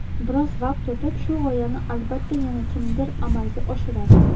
biroz vaqt o‘tib shu g‘oyani albatta yana kimdir amalga oshiradi.